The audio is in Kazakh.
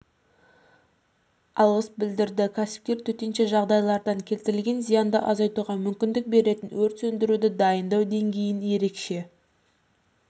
алғыс білдірді кәсіпкер төтенше жағдайлардан келтірілген зиянды азайтуға мүмкіндік беретін өрт сөндіруді дайындау деңгейін ерекше